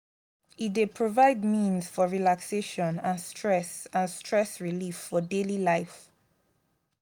e dey provide means for relaxation and stress and stress relief for daily life.